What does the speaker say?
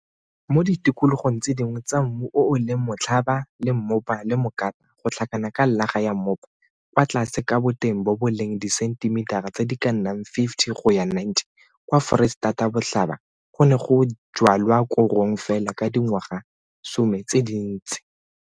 Mo ditikologong tse dingwe tsa mmu o o leng motlhaba le mmopa le mokata go tlhakana ka llaga ya mmopa kwa tlase ka boteng bo bo leng disentimitara tse di ka nnang 50 go ya 90 kwa Foreisetatabotlhaba go ne go jwalwa korong fela ka dingwagasome tse dintsi.